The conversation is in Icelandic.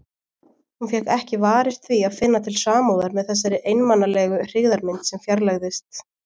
Hún fékk ekki varist því að finna til samúðar með þessari einmanalegu hryggðarmynd sem fjarlægðist.